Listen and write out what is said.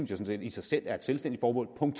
sådan set i sig selv er et selvstændigt formål punkt